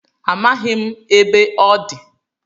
Amaghị m ebe ọ dị